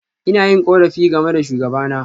Ina yin korafi game da shugabana.